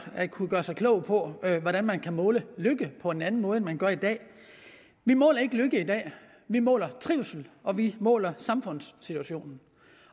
at kunne gøre sig klog på hvordan man kan måle lykke på en anden måde end man gør i dag vi måler ikke lykke i dag vi måler trivsel og vi måler samfundssituationen